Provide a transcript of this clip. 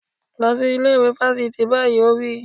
Lọ sí ilé ìwé fáfitì báyìí! Ó wí.